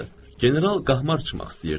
General qahmar çıxmaq istəyirdi.